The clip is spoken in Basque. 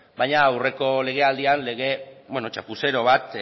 baina aurreko lege aldian lege txapuzero bat